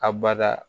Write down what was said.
A bada